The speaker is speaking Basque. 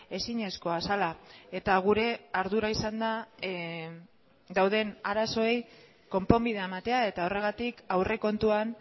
ezinezkoa zela eta gure ardura izan da dauden arazoei konponbidea ematea eta horregatik aurrekontuan